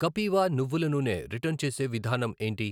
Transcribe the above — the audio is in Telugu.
కపీవ నువ్వుల నూనె రిటర్న్ చేసే విధానం ఏంటి?